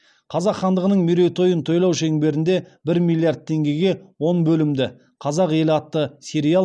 қазақ хандығының мерейтойын тойлау шеңберінде бір миллиард теңгеге он бөлімді қазақ елі атты сериал